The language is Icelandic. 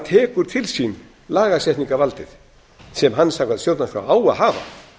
tekur til sín lagasetningarvaldið sem hann samkvæmt stjórnarskrá á að hafa